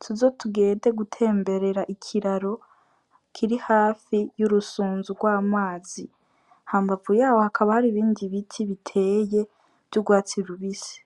tuze tugende gutemberera ikiraro kiri hafi y' urusunzu gw' amazi, hambavu yaho hakaba hari ibindi biti biteye vy' ugwatsi rubisi.